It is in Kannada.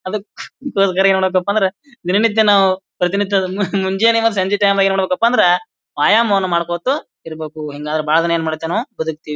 ಅದ್ಕ ಗೆರೆ ಮಾಡ್ಬೇಕಂದ್ರೆ ದಿನ ನಿತ್ಯ ನಾವು ಪ್ರತಿ ನಿತ್ಯ ಅದನ್ನು ನಾವು ಮುಂಜಾನೆ ಅಥವಾ ಸಂಜೆ ಟೈಮೆಲ್ಲಿ ವ್ಯಾಯಾಮವನ್ನು ಮಾಡ್ಕೋತಾ ನಾವು ಇರ್ಬೇಕು ಹಿಂಗಾದ್ರೆ ಬಹಳ ದಿನ ಏನ್ ಮಾಡ್ತೆವು ನಾವು ಬದುಕ್ತಿವಿ.